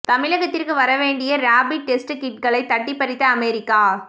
தமிழகத்திற்கு வர வேண்டிய ரேபிட் டெஸ்ட் கிட்களை தட்டிப் பறித்த அமெரிக்கா